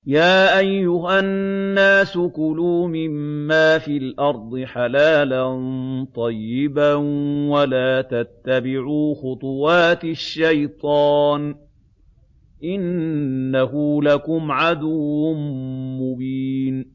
يَا أَيُّهَا النَّاسُ كُلُوا مِمَّا فِي الْأَرْضِ حَلَالًا طَيِّبًا وَلَا تَتَّبِعُوا خُطُوَاتِ الشَّيْطَانِ ۚ إِنَّهُ لَكُمْ عَدُوٌّ مُّبِينٌ